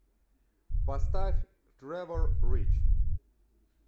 поставь трэвор рич